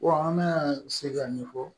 an bɛna se k'a ɲɛfɔ